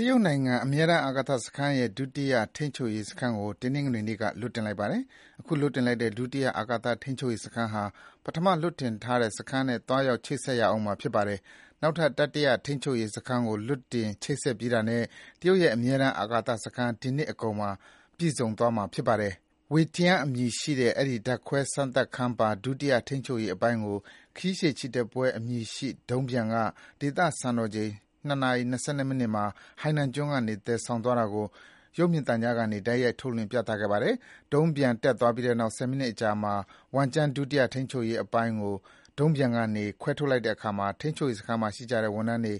တရုတ်နိုင်ငံက အမြဲတမ်းအာကာသစခန်းရဲ့ ဒုတိယထိန်းချုပ်ရေးစခန်းကို တနင်္ဂနွေနေ့က လွှတ်တင်လိုက်ပါတယ်။ ခုလွှတ်လိုက်တဲ့ ဒုတိယထိန်းချုပ်ရေး စခန်းဟာ ပထမလွှတ်တင်ထားပြီး စခန်းနဲ့ သွားရောက် ချိတ်ဆက်ရဦးမှာ ဖြစ်ပါတယ်။ နောက်ထပ် တတိယထိန်းချုပ်ရေးစခန်းကို လွှတ်တင်ချိတ်ဆက် ပြီးတာနဲ့ တရုတ်ရဲ့ အမြဲတမ်းအာကာသစခန်းက ဒီနှစ်အကုန်မှာ ပြည့်စုံသွားမှာ ဖြစ်ပါတယ်။ ဝမ်ကျန်း Wentian အမည်ရှိတဲ့ အဲဒီ ဓာတ်ခွဲစမ်းသပ်ခန်းပါ ဒုတိယထိန်းချုပ် ရေးအပိုင်းကို ခရီးရှည်ချီတက်ပွဲအမည်ရှိ ဒုံးပျံက ဒေသစံတော်ချိန် ၂ နာရီ ၂၂ မိနစ်မှာ ဟိုင်နန်ကျွန်းကနေ သယ်ဆောင်သွားတာကို ရုပ်မြင်သံကြားကနေ တိုက်ရိုက် ထုတ်လွှင့် ပြသခဲ့ပါတယ်။ ဒုံးပျံ တက်သွားပြီးနောက် ဆယ်မိနစ်အကြာမှာ ဝမ်ကျန်း ဒုတိယထိန်းချုပ်ရေး အပိုင်းကို ဒုံးပျံကနေ ခွဲထုတ်လိုက်တဲ့အခါမှာ ထိန်းချုပ်ရေးစခန်းမှာ ရှိကြတဲ့ ဝန်ထမ်းတွေက